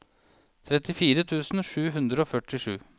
trettifire tusen sju hundre og førtisju